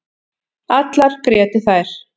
Allar grétu þær.